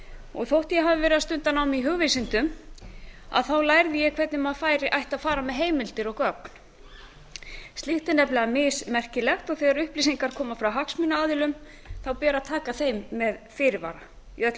og þótt ég hafi stundað nám í hugvísindum lærði ég hvernig maður ætti að fara með heimildir og gögn slíkt er nefnilega mismerkilegt og þegar upplýsingar koma frá hagsmunaaðilum ber að taka þeim með fyrirvara í